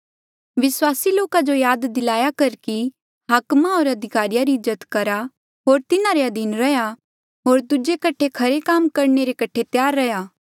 विस्वासी लोका जो याद दिलाया कर कि हाकमा होर अधिकारिया री इज्जत करहा होर तिन्हारे अधीन रेहा होर दूजे कठे खरे काम करणे रे कठे त्यार रैहया